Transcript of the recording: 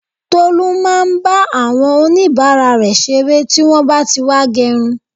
Tolu máa ń bá àwọn onibara rẹ ṣeré tí wọn bá tí wá gerun